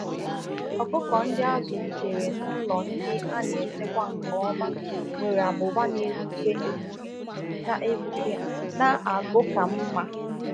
Ụmụ ọkụkọ ndi azụrụ n'ụlọ ọkụkọ na-enwe nku dị ọcha ma na-enwekwa ezi um agụ um ihe oriri